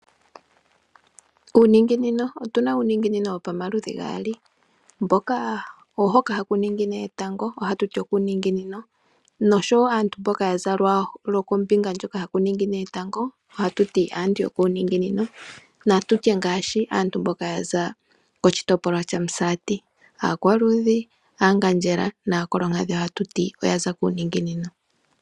Otuna uuningino wopamaludhi gaali hoka haku ningine etango ohaku tiwa okuuningino nosho aantu mboka yaza kombinga hono haku ningine etango oha kutiwa aantu yokuunonginino. Aantu mboka yaza kOmusati aakwuudhi, aangandjela oha tuti otaza kuuninginino.